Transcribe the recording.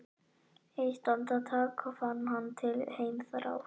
Eitt andartak fann hann til heimþrár.